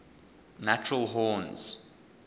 natural horns